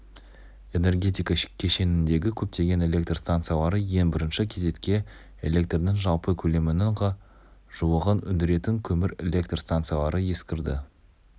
энергетика кешеніндегі көптеген электр станциялары ең бірінші кезекте электрдің жалпы көлемінің ға жуығын өндіретін көмір электр станциялары ескірді